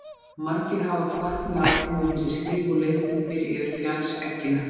Margir hafa hvatt mig áfram við þessi skrif og leiðbeint mér yfir fjallseggina.